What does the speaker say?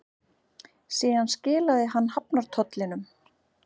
Síðan skilaði hann hafnartollinum.